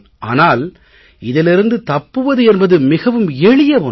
ஆனால் இதிலிருந்து தப்புவது என்பது மிகவும் எளிய ஒன்று